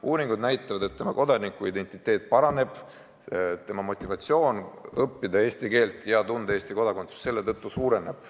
Uuringud näitavad, et sel juhul kodanikuidentiteet tugevneb, motivatsioon õppida eesti keelt ja tunda Eesti põhiseadust suureneb.